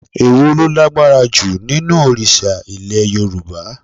Èwo lo lágbára ju nínú òrìsà Ilẹ̀ Yorùbá?